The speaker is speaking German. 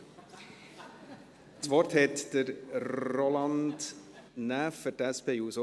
Das Wort hat Roland Näf für die SP-JUSO-PSA-Fraktion.